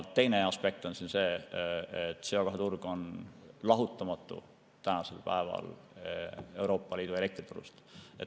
Teine aspekt on see, et CO2 turg on lahutamatu Euroopa Liidu elektriturust.